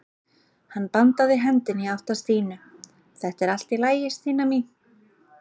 Hann bandaði hendinni í átt að Stínu: Þetta er allt í lagi Stína mín.